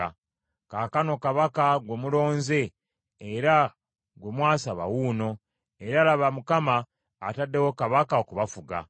Kaakano kabaka gwe mulonze era gwe mwasaba wuuno, era laba Mukama ataddewo kabaka okubafuga.